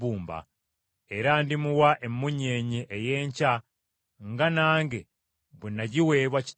Era ndimuwa emmunyeenye ey’enkya nga nange bwe nagiweebwa Kitange.